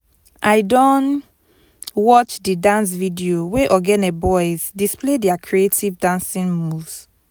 i don watch di dance video wey ogene boys display their creative dancing moves